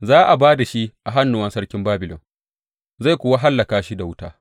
Za a ba da shi a hannuwan sarki Babilon, zai kuwa hallaka shi da wuta.’